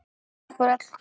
Takk fyrir öll knúsin.